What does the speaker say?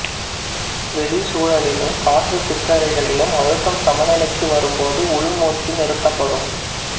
வெளிச் சூழலிலும் காற்றுச் சிற்றறைகளிலும் அழுத்தம் சமநிலைக்கு வரும்போது உள்மூச்சு நிறுத்தப்படும்